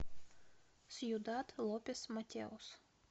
сьюдад лопес матеос